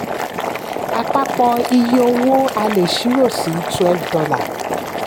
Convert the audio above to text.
àpapọ̀ iye owó a lè ṣírò sí twelve dollars